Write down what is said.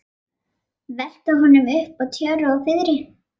Velta honum upp úr tjöru og fiðri!